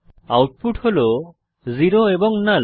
output হল 0 এবং নাল